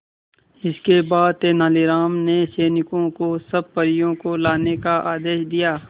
इसके बाद तेलानी राम ने सैनिकों को सब परियों को लाने का आदेश दिया